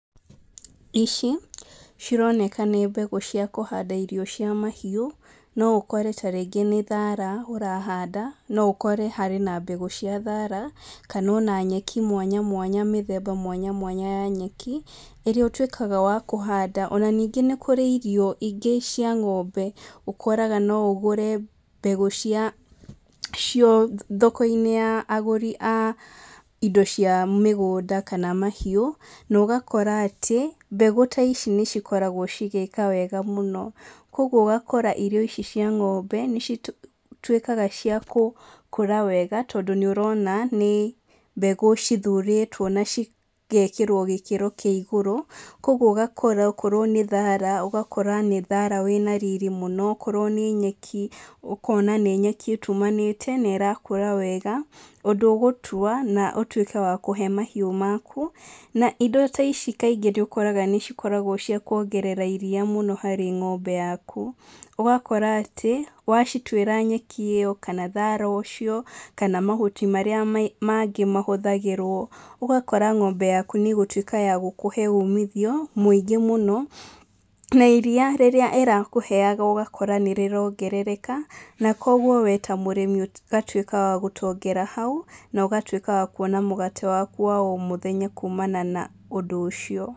Ici cironeka nĩ mbegũ cia kũhanda irio cia mahiũ, no ũkore ta rĩngĩ nĩ thara ũrahanda no ũkore hena mbegũ cia thara kana ona nyeki mwanya mwanya, mĩthemba mwanya mwanya ya nyeki ĩrĩa ũtuĩkaga wa kũhanda ona ningĩ nĩ kũrĩ irio ingĩ cia ng'ombe ũkoraga no ũgũre mbegũ thoko-inĩ ya agũri a indo cia mĩgũnda kana mahiũ, ũgakora atĩ mbegũ ta ici nĩ cikoragwo cĩgĩka wega mũno, kwoguo ũgakora irio ici cia ng'ombe nĩ cituĩkaga cia gũkũra wega tondũ nĩ ũrona nĩ mbegũ cithurĩtwo na cigekĩrwo gĩkĩro kĩa igũrũ kwoguo ũgakora okorwo nĩ thara ũgakora nĩ thara wĩna riri mũno, okorwo nĩ nyeki ũkona nĩ nyeki ĩtumanĩte na ĩrakũra wega ũndũ ũgũtua na ũtuĩke wa kũhe mahiũ maku, na indo ici nĩ ũkoraga nĩ cia kwongerera iria mũno harĩ ng'ombe yaku, ũgakora atĩ wacituĩra nyeki ĩyo na thara ũcio kana mahuti marĩa mangĩ mahũthagĩrwo ũgakora ng'ombe yaku nĩ ratuĩka ya gũkũhe umithio mũingĩ mũno na iria rĩrĩa ĩrakũheaga ũgakora nĩrĩrongereka na kwoguo we ta mũrĩmi ũgatuĩka wa gũtongera hau na ũgatuĩka wa kwona mũgate waku wa oro mũthenya kumana na ũndũ ũcio.